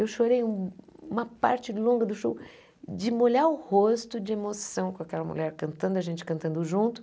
Eu chorei um uma parte longa do show de molhar o rosto de emoção com aquela mulher cantando, a gente cantando junto.